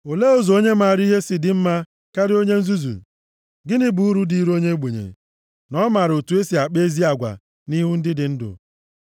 Olee ụzọ onye maara ihe si dị mma karịa onye nzuzu? Gịnị bụ uru dịịrị onye ogbenye na ọ maara otu e si akpa ezi agwa nʼihu ndị dị ndụ? + 6:8 Maọbụ, nʼebe ndị ọzọ nọ